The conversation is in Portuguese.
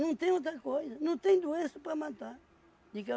tem outra coisa, não tem doença para matar.